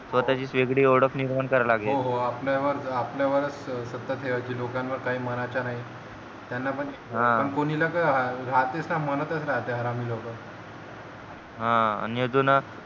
स्वतःचीच वेगळी ओळख निर्माण करावी लागेल आपल्या वरच आपल्या वरच सत्ता ठेवीची लोकांवर काही मनाच्या नाही त्यांना पण कोणी ला पण राहतेच ना मनातच राहते हरामी लोक हा आणि अजून